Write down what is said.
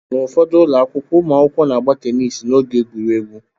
N'ufodu ụlọ akwụkwọ, ụmụakwụkwọ na-agba teniisi n'oge egwuregwu.